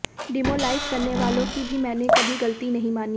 डिमोलाइज करने वालों की भी मैंने कभी गलती नहीं मानी